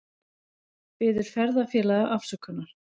Biður ferðafélaga afsökunar